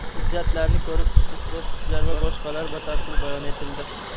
hujjatlarni ko‘rib chiqish bosqichlari va boshqalar batafsil bayon etildi.